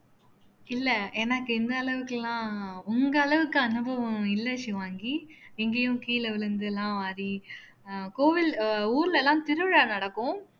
இல்லை எனக்கு இந்த அளவுக்கு எல்லாம் உங்க அளவுக்கு அனுபவம் இல்லை ஷிவாங்கி எங்கேயும் கீழே விழுந்தெல்லாம் வாடி அஹ் கோவில் அஹ் ஊர்ல எல்லாம் திருவிழா நடக்கும்